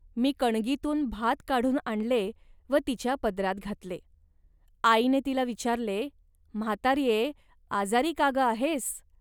मी कणगीतून भात काढून आणले व तिच्या पदरात घातले. आईने तिला विचारले, "म्हाताऱ्ये, आजारी का गं आहेस